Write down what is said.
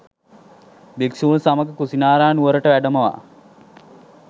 භික්‍ෂූන් සමග කුසිනාරා නුවරට වැඩමවා